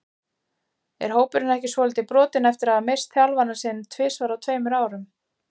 Er hópurinn ekki svolítið brotinn eftir að hafa misst þjálfarann sinn tvisvar á tveimur árum?